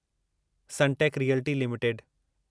Sunteck Realty limited